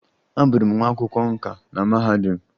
Abụrụ m nwa akwụkwọ nkà na mahadum.